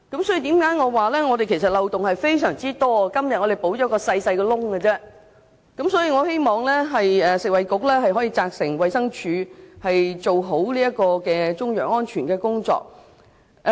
所以，香港在中藥材方面的漏洞十分多，今天我們只是填補一個小洞而已，我希望食物及衞生局可以責成衞生署做好中藥安全的工作。